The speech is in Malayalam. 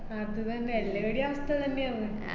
അത് തെന്നെ എല്ലാരുടേം അവസ്ഥ തെന്നെയാണ്